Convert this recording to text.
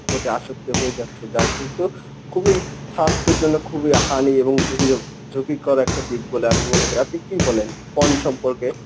প্রতি আসক্ত হয়ে যাচ্ছে যা কিন্তু খুবই স্বাস্থ্যের জন্য খুবই হানি এবং ঝুঁকিকর একটা দিক বলে আমি মনে করি। আপনি কি বলেন? porn সম্পর্কে,